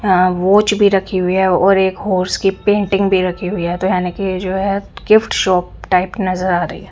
यहाँ वॉच भी रखी हुई है और एक हॉर्स की पेंटिंग भी रखी हुई है तो यानी की जो है गिफ्ट शॉप टाइप नज़र आ रही है।